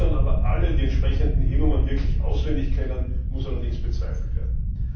Ob dann aber alle die entsprechenden E Nummern wirklich auswendig kennen, muss allerdings bezweifelt werden.